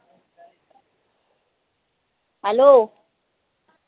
hello